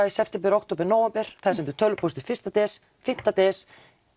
í september október nóvember það er sendur tölvupóstur fyrstu des fimm des